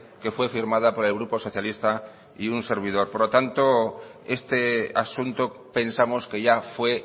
que fue firmada por el grupo socialista y un servidor por lo tanto este asunto pensamos que ya fue